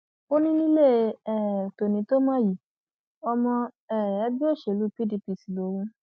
ó ní nílé um tòní tó mọ yìí ọmọ um ẹgbẹ òṣèlú pdp sì lòun